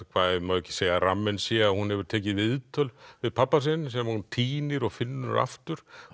ekki segja að ramminn sé að hún hefur tekið viðtöl við pabba sinn sem hún týnir og finnur aftur